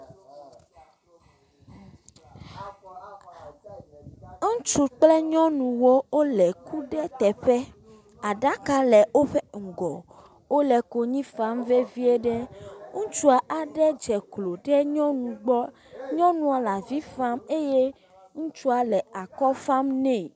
Ŋutsu kple nyɔnuwo wole ku ɖe teƒe. Aɖaka le woƒe ŋgɔ. Wole konyi fam vevie ɖe. Ŋutsu aɖe dze klo ɖe nyɔnu gbɔ. Nyɔnua le avi fam eye ŋutsua le akɔ fam nɛ.